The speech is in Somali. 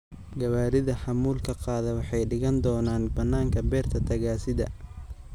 Gawaarida xamuulka qaada waxay dhigan doonaan bannaanka beerta tagaasida.